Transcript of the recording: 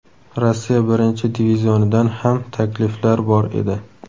Rossiya Birinchi divizionidan ham takliflar bor edi.